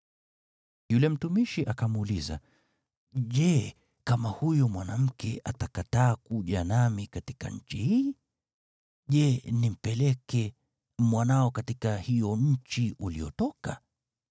Yule mtumishi akamuuliza, “Je, kama huyo mwanamke atakataa kuja nami katika nchi hii? Je, nimpeleke mwanao katika hiyo nchi uliyotoka?”